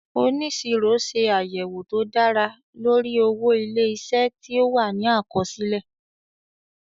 Oníṣirọ ṣe àyẹ̀wò tó dára lórí owó ilé-isé tí ó wà ní àkọsílẹ̀